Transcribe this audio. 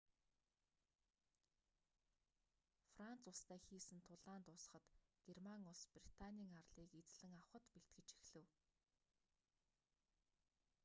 франц улстай хийсэн тулаан дуусахад герман улс британий арлыг эзлэн авахад бэлтгэж эхлэв